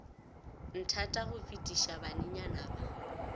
nthata go fetiša banenyana ba